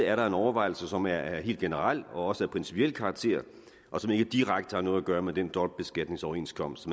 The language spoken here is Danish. er der en overvejelse som er af helt generel og også af principiel karakter og som ikke direkte har noget at gøre med den dobbeltbeskatningsoverenskomst